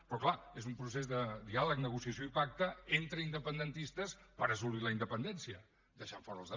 però clar és un procés de diàleg negociació i pacte entre independentistes per assolir la independència deixant fora la resta